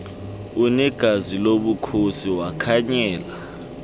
unegazi lobukhosi wakhanyela